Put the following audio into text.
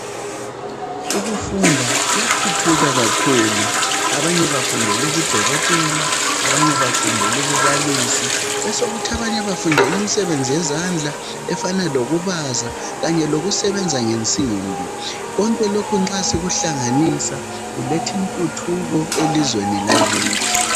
Ukufunda kuyathuthuka kakhulu. Abanye bafundela ubudokotela, abanye bafundela ububalisi, besokuthi abanye bafundela imisebenzi yezandla efana lokubaza kanye lokusebenza ngensimbi. Konke lokhu nxa sikuhlanganisa kuletha intuthuko elizweni lakithi.